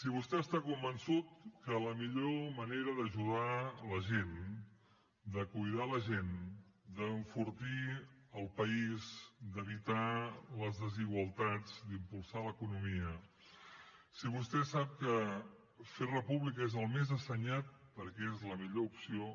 si vostè està convençut que la millor manera d’ajudar la gent de cuidar la gent d’enfortir el país d’evitar les desigualtats d’impulsar l’economia si vostè sap que fer república és el més assenyat perquè és la millor opció